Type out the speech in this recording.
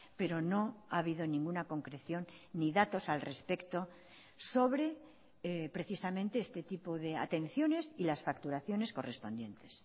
pero no ha habido ninguna concreción ni datos al respecto sobre precisamente este tipo de atenciones y las facturaciones correspondientes